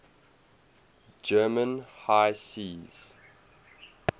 german high seas